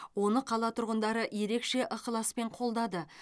оны қала тұрғындары ерекше ықыласпен қолдады